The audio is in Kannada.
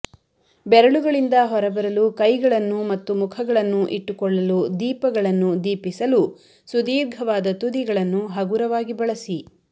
ಬೆರಳುಗಳಿಂದ ಹೊರಬರಲು ಕೈಗಳನ್ನು ಮತ್ತು ಮುಖಗಳನ್ನು ಇಟ್ಟುಕೊಳ್ಳಲು ದೀಪಗಳನ್ನು ದೀಪಿಸಲು ಸುದೀರ್ಘವಾದ ತುದಿಗಳನ್ನು ಹಗುರವಾಗಿ ಬಳಸಿ